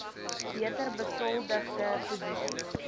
beter besoldigde posisies